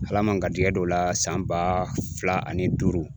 Ala ma n garisɛgɛ don o la san ba fila ani duuru